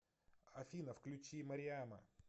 афина включи мариама